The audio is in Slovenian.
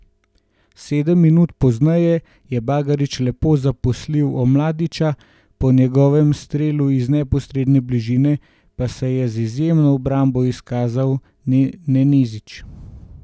Sedem minut pozneje je Bagarić lepo zaposlil Omladiča, po njegovem strelu iz neposredne bližine pa se je z izjemno obrambo izkazal Nenezić.